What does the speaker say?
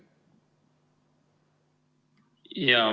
Jaa.